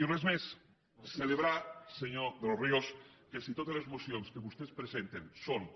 i res més celebrar senyor de los ríos que si totes les mocions que vostès presenten són